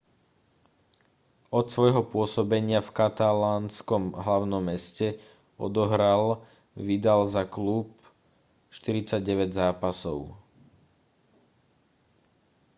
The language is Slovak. od svojho pôsobenia v katalánskom hlavnom meste odohral vidal za klub 49 zápasov